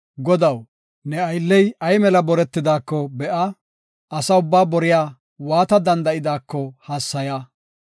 Godaw, ne aylley ay mela boretidaako be7a; asa ubbaa boriya waata danda7idaako hassaya.